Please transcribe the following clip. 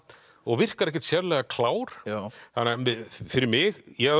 og virkar ekkert sérlega klár fyrir mig ég